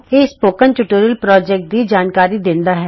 ਇਹ spoken tutorial project ਦੀ ਜਾਣਕਾਰੀ ਦਿੰਦਾ ਹੈ